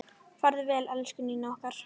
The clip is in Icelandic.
Farðu vel, elsku Nína okkar.